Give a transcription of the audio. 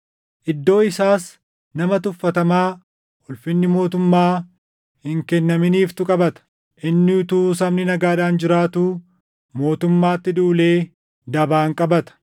“Iddoo isaas nama tuffatamaa ulfinni mootummaa hin kennaminiifitu qabata. Inni utuu sabni nagaadhaan jiraatuu mootummaatti duulee dabaan qabata.